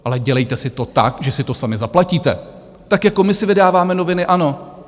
Ale dělejte si to tak, že si to sami zaplatíte, tak jako my si vydáváme noviny ANO.